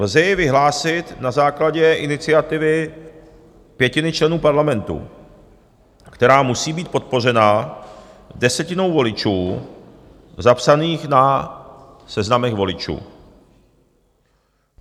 Lze jej vyhlásit na základě iniciativy pětiny členů parlamentu, která musí být podpořena desetinou voličů zapsaných na seznamech voličů.